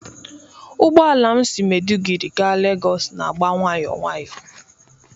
Ụgbọ ala m si Maiduguri gaa lagos n'agba nwayọọ nwayọọ.